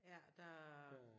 Ja der